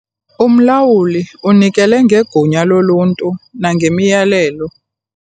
Umlawuli unikele ngegunya loluntu nangemiyalelo.